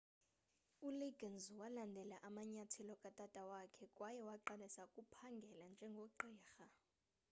uliggins walandela amanyathelo katata wakhe kwaye waqalisa ukuphangela njengogqirha